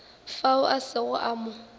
fao a sego a mo